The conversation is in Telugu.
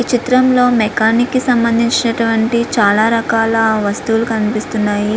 ఈ చిత్రంలో మెకానిక్ కి సంబంధించినటువంటి చాలా రకాల వస్తువులు కనిపిస్తున్నాయి.